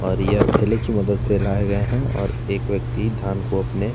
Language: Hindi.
और ए ठेले की मदद से लाये गए हैं और एक व्यक्ति धान को अपने --